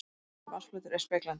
Sléttur vatnsflötur er speglandi.